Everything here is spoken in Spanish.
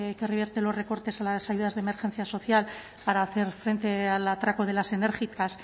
que revierte los recortes a las ayudas de emergencia social para hacer frente al atraco de las enérgicas